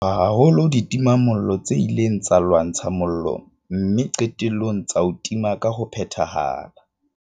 Re leboha haholo ditimamollo tse ileng tsa lwantsha mollo mme qetellong tsa o tima ka ho phethahala.